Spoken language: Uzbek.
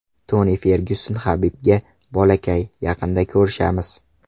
Toni Fergyuson Habibga: Bolakay, yaqinda ko‘rishamiz!.